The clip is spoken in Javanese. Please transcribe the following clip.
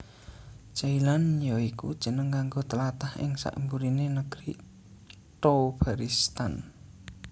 Jailan ya iku jeneng kanggo tlatah ing sakburiné Negri Thobaristan